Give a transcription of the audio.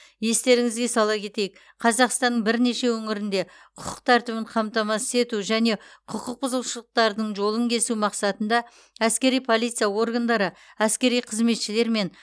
естеріңізге сала кетейік қазақстанның бірнеше өңірінде құқық тәртібін қамтамасыз ету және құқық бұзушылықтардың жолын кесу мақсатында әскери полиция органдары әскери қызметшілер мен